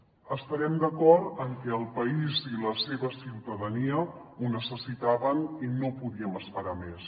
devem estar d’acord en que el país i la seva ciutadania ho necessitaven i no podíem esperar més